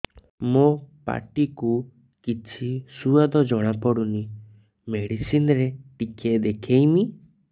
ମୋ ପାଟି କୁ କିଛି ସୁଆଦ ଜଣାପଡ଼ୁନି ମେଡିସିନ ରେ ଟିକେ ଦେଖେଇମି